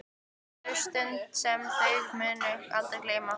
Þetta verður stund sem þau munu aldrei gleyma.